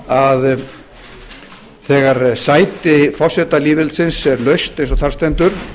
að þegar sæti forseta lýðveldisins er laust eins og þar stendur